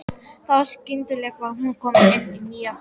Þá skyndilega var hún komin inn í nýja götu.